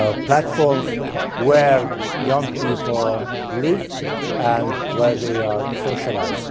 platforms where young people live and where they socialise.